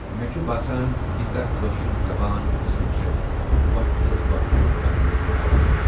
مےٚ چُھ باسان ییٖژہ کٲشِر زَبان اَصٕل چھےٚ وقتہٕ وقتہٕ بدلے زَبانہٕ۔